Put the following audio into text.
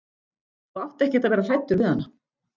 Þú átt ekkert að vera hræddur við hana.